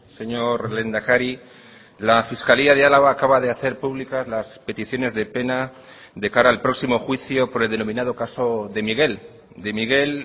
señor lehendakari la fiscalía de álava acaba de hacer públicas las peticiones de pena de cara al próximo juicio por el denominado caso de miguel de miguel